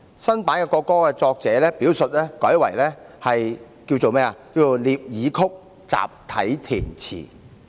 新版國歌的作者表述改為"聶耳曲，集體填詞"。